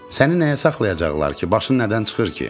Səni nəyə saxlayacaqlar ki, başın nədən çıxır ki?